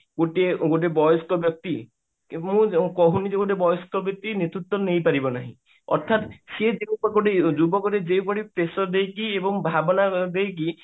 ଗୋଟିଏ ଗୋଟେ ବୟସ୍କ ବ୍ୟକ୍ତି ମୁଁ କହୁଣି ଯେ ଗୋଟେ ବୟସ୍କ ବ୍ୟକ୍ତି ନେତୃତ୍ଵ ନେଇ ପାରିବ ନାହିଁ ଅର୍ଥାତ ସିଏ ଯୁବକତି ଯୋଉଭଳି pressure ଦେଇକି ଏବଂ ଭାବନା ଦେଇକି